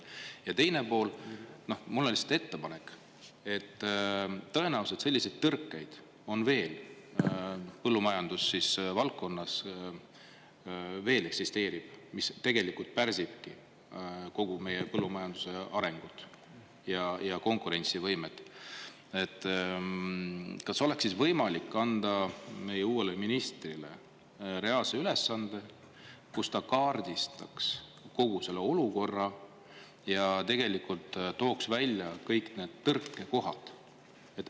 Ja teine pool: mul on lihtsalt ettepanek, et – tõenäoliselt selliseid tõrkeid on veel põllumajandusvaldkonnas veel eksisteerib, mis tegelikult pärsibki kogu meie põllumajanduse arengut ja konkurentsivõimet, – et kas oleks siis võimalik anda meie uuele ministrile reaalse ülesande, kus ta kaardistaks kogu selle olukorra ja tegelikult tooks välja kõik need tõrkekohad.